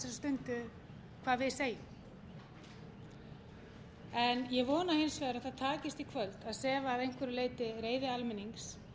hvað við segjum ég vona hins vegar að það takist í kvöld að sefa að einhverju leyti reiði almennings